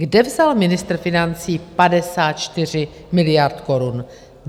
Kde vzal ministr financí 54 miliard korun?